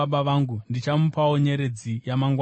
Ndichamupawo nyeredzi yamangwanani.